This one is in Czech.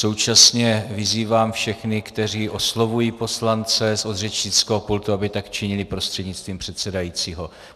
Současně vyzývám všech, kteří oslovují poslance od řečnického pultu, aby tak činili prostřednictvím předsedajícího.